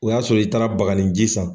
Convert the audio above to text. O y'a sɔrɔ i taara baganinji san.